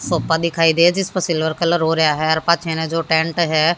Sofa दिखाई दे जिसपे सिल्वर कलर हो रहा है और पाछे ना जो टेंट है।